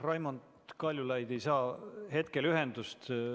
Raimond Kaljulaid ei saa hetkel ühendust.